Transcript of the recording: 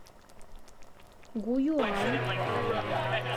гуюань